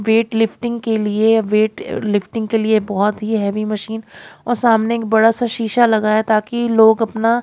weightlifting के लिए weight uh lifting के लिए बहुत ही हेवी मशीन और सामने एक बड़ा सा शीशा लगा है ताकि लोग अपना--